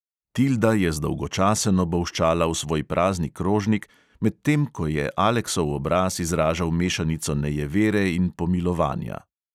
Tilda je zdolgočaseno bolščala v svoj prazni krožnik, medtem ko je aleksov obraz izražal mešanico nejevere in pomilovanja.